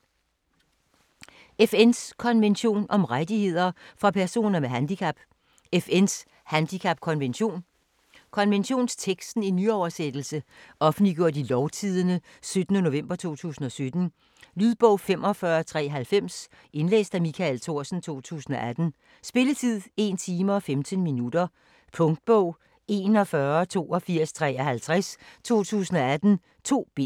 FN’s konvention om rettigheder for personer med handicap: FN's handicapkonvention Konventionsteksten i nyoversættelse. Offentliggjort i Lovtidende 17. nov. 2017. Lydbog 45390 Indlæst af Michael Thorsen, 2018. Spilletid: 1 time, 15 minutter. Punktbog 418253 2018. 2 bind.